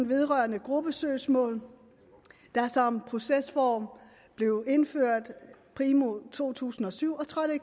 vedrørende gruppesøgsmål der som procesform blev indført primo to tusind og syv og trådte i